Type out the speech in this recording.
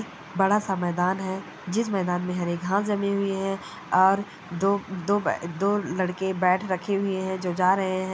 बड़ा सा मैदान है जिस मैदान में हरे घास जमी हुई है और दो दो बे दो लड़के बेट रखे हुऐ हैं जो जा रहे हैं।